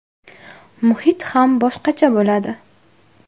Muhit ham boshqacha bo‘ladi.